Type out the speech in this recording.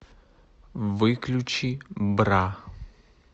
выключи бра